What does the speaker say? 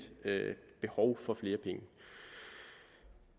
behov for flere penge